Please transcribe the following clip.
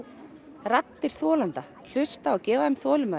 raddir þolenda hlusta og gefa þeim þolinmæði